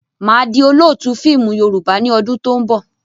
Máa di Olóótù fíìmù Yorùbá ni ọdún to ń bọ̀.